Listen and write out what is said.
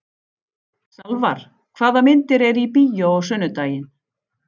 Salvar, hvaða myndir eru í bíó á sunnudaginn?